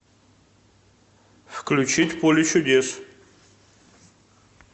включить поле чудес